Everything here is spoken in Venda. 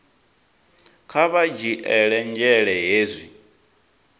kha vha dzhiele nzhele hezwi